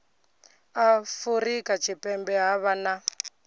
afurika tshipembe ha vha na